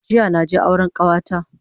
Jiya naje auren kawata